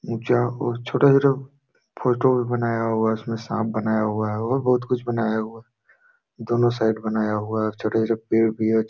ऊंचा और छोटे-छोटे फोटो भी बनाया हुआ उसमें सांप बनाया हुआ है और बहुत कुछ बनाया हुआ दोनों साइड बनाया हुआ है छोटे - छोटे पेड़ भी है ।